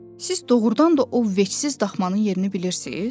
Siz doğurdan da o vecsiz daxmanın yerini bilirsiz?